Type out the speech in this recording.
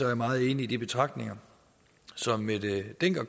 er meget enig i de betragtninger som mette hjermind dencker